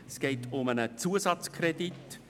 Es geht um einen Zusatzkredit.